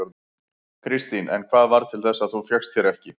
Kristín: En hvað varð til þess að þú fékkst þér ekki?